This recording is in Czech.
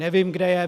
Nevím, kde je.